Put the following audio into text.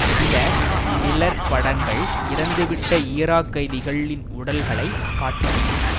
சில நிழற்படங்கள் இறந்துவிட்ட ஈராக் கைதிகள்ளின் உடல்களை காட்டுகின்றன